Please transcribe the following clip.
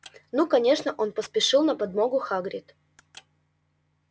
ну конечно это спешил на подмогу хагрид